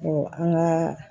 an ka